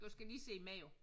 Du skal lige se med jo